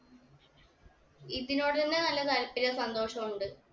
ഇതിനോടഞ്ഞെ നല്ല താല്പര്യവും സന്തോഷവും ഉണ്ട്